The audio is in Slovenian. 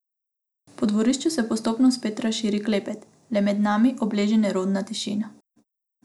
Po dvorišču se postopno spet razširi klepet, le med nami obleži nerodna tišina.